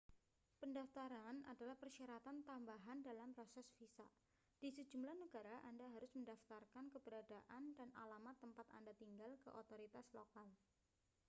pendaftaran adalah persyaratan tambahan dalam proses visa di sejumlah negara anda harus mendaftarkan keberadaan dan alamat tempat anda tinggal ke otoritas lokal